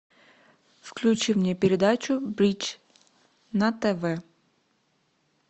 включи мне передачу бридж на тв